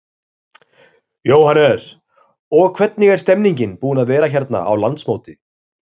Jóhannes: Og hvernig er stemmningin búin að vera hérna á landsmóti?